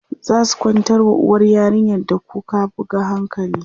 zaku kwantar wa uwar yarinyar da kuka buga hankali?